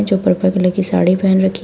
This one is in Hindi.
जो पर्पल कलर की साड़ी पहन रखी--